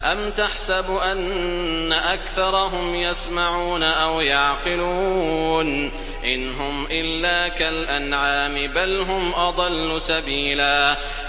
أَمْ تَحْسَبُ أَنَّ أَكْثَرَهُمْ يَسْمَعُونَ أَوْ يَعْقِلُونَ ۚ إِنْ هُمْ إِلَّا كَالْأَنْعَامِ ۖ بَلْ هُمْ أَضَلُّ سَبِيلًا